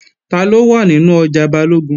Taló wà nínú ọjà Balógun?